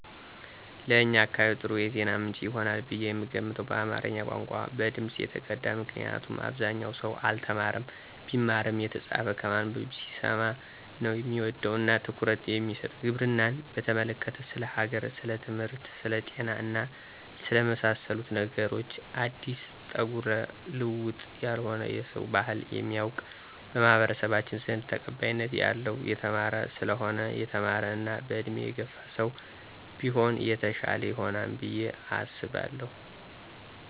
ለእኛ አካባቢ ጥሩ የዜና ምንጭ ይሆናል ብየ የምገምተው በአማረኛ ቋንቋ፣ በድምጽ የተቀዳ ምክንያቱም አብዛኛው ሰው አልተማረም ቢማርም የተጻፈ ከማነበብ ሲሰማ ነው ሚወድ እና ትኩረት የሚሰጥ፣ ግብርናን በተመለከተ፣ ስለ ሀገር፣ ስለትምህርት፣ ስለ ጤና እና ስለመሳሰሉት ነገሮች አዲስ ጠጉረ ልውጥ ያልሆነ የሰውን ባህል የሚያውቅ፣ በማኅበረሰባችን ዘንድ ተቀባይነት ያለው የተማረ ሰለሆነ የተማረ እና በእድሜ የገፋ ሰው ቢሆን የተሻለ ይሆናል ብየ አሰባለሁ።